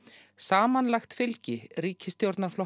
samanlagt fylgi ríkisstjórnarflokkanna